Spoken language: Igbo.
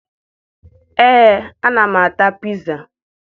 Ee, ana m ata piza